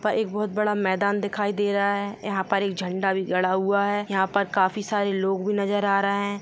--था एक बहुत बड़ा मैदान दिखाई दे रहा है यहाँ पर एक झंडा भी गड़ा हुआ है यहाँ पर काफी सारे लोग भी नजर आ रहे है।